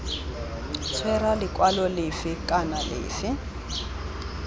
tshwera lekwalo lefe kana lefe